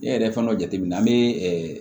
Ne yɛrɛ fɛn dɔ jateminɛ na an bɛ